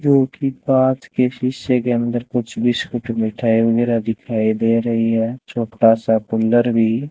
जोकि कांच के शीशे के अंदर कुछ बिस्किट मिठाई वगैरा दिखाई दे रही है छोटा सा कूलर भी --